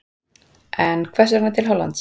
En hvers vegna til Hollands?